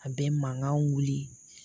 A bɛ mankan wuli